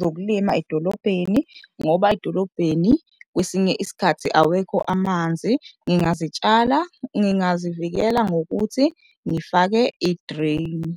zokulima edolobheni ngoba edolobheni kwesinye isikhathi awekho amanzi ngingazitshala, ngingazivikela ngokuthi ngifake idreyini.